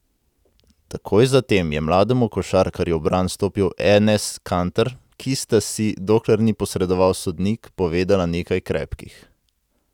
Takoj zatem je mlademu košarkarju v bran stopil Enes Kanter, ki sta si, dokler ni posredoval sodnik, povedala nekaj krepkih.